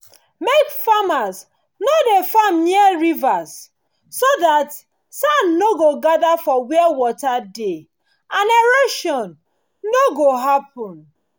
make farmers no dey farm near rivers so dat sand nor go gather for where water dey and erosion no go happen